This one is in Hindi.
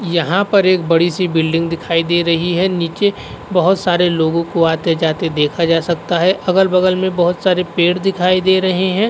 यहाँ पर एक बड़ी सी बिल्डिग दिखाई दे रही है। नीचे बोहत सारे लोगो को आते-जाते देखा जा सकता है। अगल-बगल में बोहत सारे पेड़ दिखाई दे रहे हैं।